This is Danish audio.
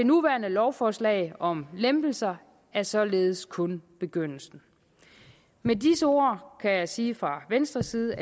nuværende lovforslag om lempelser er således kun begyndelsen med disse ord kan jeg sige fra venstres side